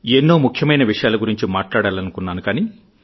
ఎన్నో ముఖ్యమైన విషయాల గురించి మాట్లాడాలనుకున్నాను కానీ